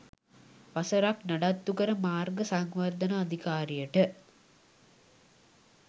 වසරක් නඩත්තු කර මාර්ග සංවර්ධන අධිකාරියට